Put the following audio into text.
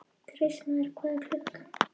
Kristmar, hvað er klukkan?